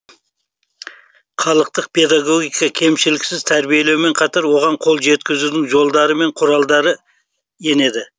халықтық педагогика кемшіліксіз тәрбиелеумен қатар оған қол жеткізудің жолдары мен құралдары енеді